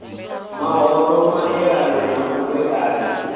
mahoro maelana na u vhekanywa